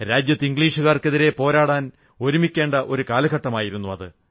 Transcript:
രാജ്യത്ത് ഇംഗ്ലീഷുകാർക്കെതിരെ പോരാടാൻ ഒരുമിക്കേണ്ട ഒരു കാലഘട്ടമായിരുന്നു അത്